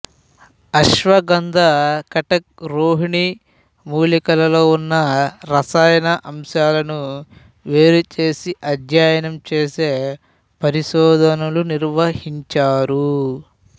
అశ్వగంథ కటక్ రొహిణి మూలికలలో ఉన్న రసాయన అంశాలను వేరు చేసి అధ్యయనం చేసే పరిశోధనలు నిర్వహించారు